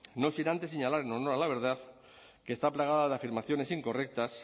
no sin antes señalar en honor a la verdad que está plagada de afirmaciones incorrectas